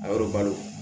A yɔrɔ balo